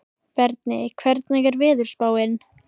Berni, hvernig er veðurspáin?